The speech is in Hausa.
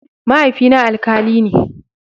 Mahaifina alkali ne.